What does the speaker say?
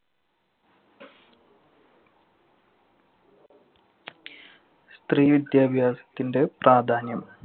സ്ത്രീ വിദ്യാഭ്യാസത്തിന്‍റെ പ്രാധാന്യം